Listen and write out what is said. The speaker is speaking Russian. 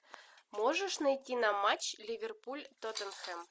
можешь найти нам матч ливерпуль тоттенхэм